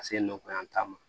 Ka se nɔgɔya ma